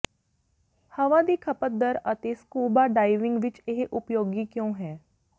ਹਵਾ ਦੀ ਖਪਤ ਦਰ ਅਤੇ ਸਕੂਬਾ ਡਾਇਵਿੰਗ ਵਿੱਚ ਇਹ ਉਪਯੋਗੀ ਕਿਉਂ ਹੈ